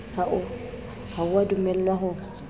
ha o a dumellwa ho